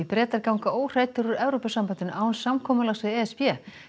Bretar ganga óhræddir úr Evrópusambandinu án samkomulags við e s b